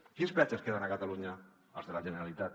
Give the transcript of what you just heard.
quins peatges queden a catalunya els de la generalitat